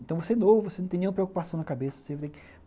Então, você é novo, você não tem nenhuma preocupação na cabeça.